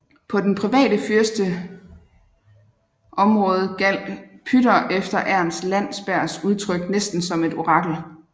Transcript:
På den private fyrsterets område gjaldt Pütter efter Ernst Landsbergs udtryk næsten som et orakel